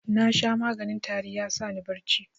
Nasha maganin tari ya sani bacci.